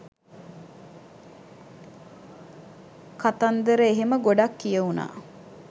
කතන්දර එහෙම ගොඩක් කියවුනා.